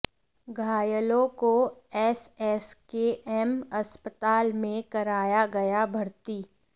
घायलों को एसएसकेएम अस्पताल में कराया गया भर्ती